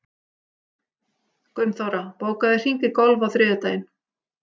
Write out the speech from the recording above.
Gunnþóra, bókaðu hring í golf á þriðjudaginn.